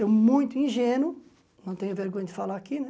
Eu, muito ingênuo, não tenho vergonha de falar aqui, né?